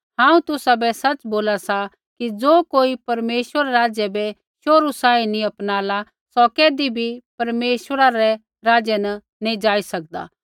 हांऊँ तुसाबै सच़ बोला सा कि ज़ो कोई परमेश्वरा रै राज्य बै शोहरू सांही नैंई अपनाला सौ कैधी भी परमेश्वरा रै राज्य न नैंई जाई सकदा